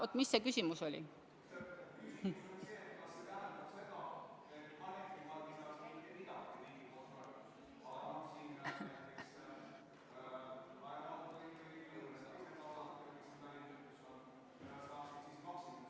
Oot, mis see küsimus oli?